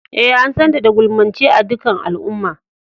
Eh, an san ta da gulmance a' dukan al'umman.